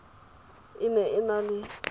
e ne e na le